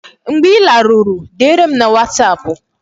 Mgbe ị laruru, dere m na wasapụ